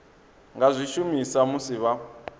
nga zwi shumisa musi vha